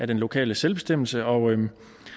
den lokale selvbestemmelse og